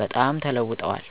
በጣም ተለዉጠዋል።